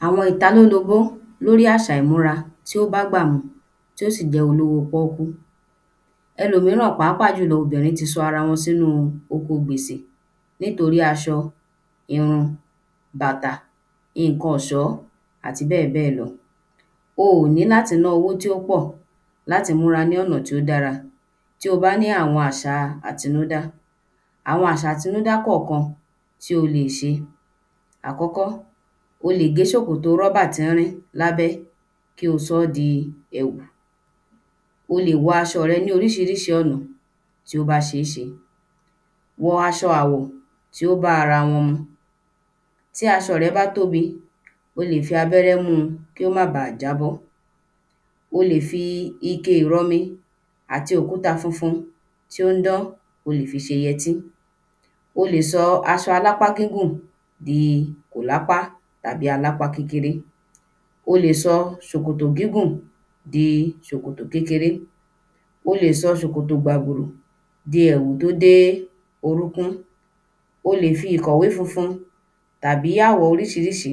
﻿ Àwọn ìtalólobó lórí àṣà ìmúra tí ó bágbà mu tí ó sì jẹ́ olówó póókú. Ẹlòmíràn pàápà jùlọ obìnrin ti sọ ara wọn sínú oko gbèsè nítorí aṣọ, irun, bàtà, iǹkan ọ̀ṣọ́ àti bẹ́ẹ̀ bẹ́ẹ̀ lọ. O ò ní láti ná owó tí ó pọ̀ láti múra ní ọ̀nà tí ó dára tí o bá ní àwọn àṣa àtinúdá. Àwọn àṣa àtinúdá kọ̀kan tí o ò lè ṣe. Àkọ́kọ́, o lè gé ṣòkòtò rọ́bà tín-ínrín lábẹ́ kí o sọ́ di èwù. O lè wọ aṣọ rẹ ní oríṣiríṣi ọ̀nà tí ó bá ṣe é ṣe. Wọ aṣọ àwọ̀ tí o bá ara wọn mu. Tí aṣọ̀ rẹ bá tóbí, o lè fi abẹ́rẹ́ mu ki ó má ba à jábọ́. O lè fi ike ìrọmi àti òkúta funfun tí ó ń dán, o lè fi ṣe yẹtí. O lè sọ aṣọ alápá gígùn di kòlápá tàbí alápa kékeré. O lè sọ ṣòkòtò gígùn di ṣòkòtò kékeré. O lè sọ ṣòkòtò gbàbùrù di èwù tó dé orúkún. O lè fi ìkòwé funfun tàbì àwọ̀ oríṣíríṣí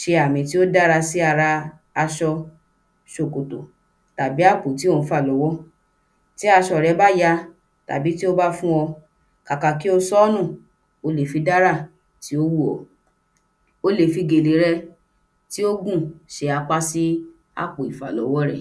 ṣe àmì tí ó dára sí ara aṣọ, ṣòkòtò, tàbí àpò tí ò ń fà lọ́wọ́. Tí aṣọ rẹ bá ya tàbí tí ó bá fún ọ, kàkì kí o sọ́nù o lè fi dárà tí ó wù ọ́. O lè fi gèlè rẹ tí ó gùn ṣe apá sí àpò ìfàlọ́wọ́ rẹ.